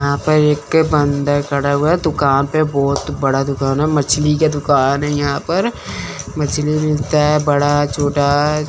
यहां पर एक बंद खड़ा हुआ है दुकान पे बहोत बड़ा दुकान है मछली का दुकान है यहां पर मछली मिलता है बड़ा छोटा--